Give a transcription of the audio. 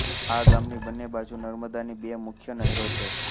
આ ગામની બંને બાજુ નર્મદાની બે મુખ્ય નહેરો છે